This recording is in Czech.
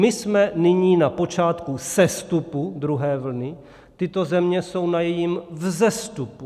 My jsme nyní na počátku sestupu druhé vlny, tyto země jsou na jejím vzestupu!